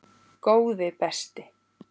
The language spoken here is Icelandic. Góði besti.!